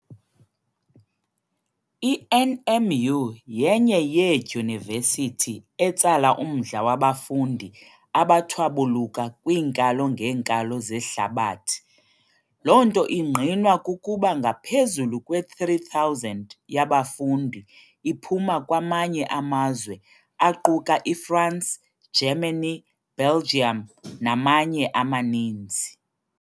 I-NMU yenye yeeDyunivesithi etsala umdla wabafundi abathwabuluka kwiinkalo ngeenkalo zehlabathi, lonto ingqinwa kukuba ngaphezulu kwe-3000 yabafundi iphuma kwamanye amazwe aquka iFrance, Germany, Belgium namanye amaninzi.